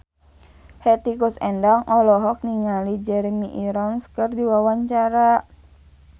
Hetty Koes Endang olohok ningali Jeremy Irons keur diwawancara